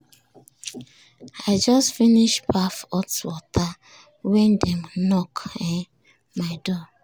i just finish baff hot water when dem knock um my door.